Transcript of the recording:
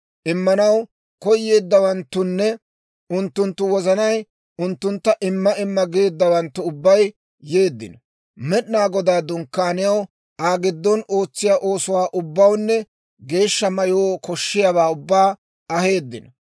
Immanaw koyeeddawanttunne unttunttu wozanay unttuntta imma imma geeddawanttu ubbay yeeddino; Med'inaa Godaa Dunkkaaniyaw, Aa giddon ootsiyaa oosuwaa ubbawunne geeshsha mayoo koshshiyaawaa ubbaa aheeddino.